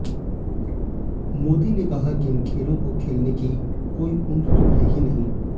मोदी ने कहा कि इन खेलों को खेलने की कोई उम्र तो है ही नहीं